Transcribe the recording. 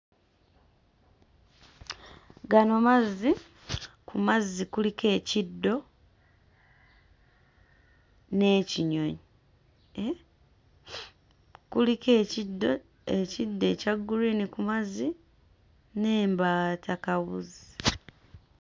Gano mazzi. Ku mazzi kuliko ekiddo n'ekinyonyi eeh? Kuliko ekiddo, ekiddo ekya guliini ku mazzi n'embaatakabuzi.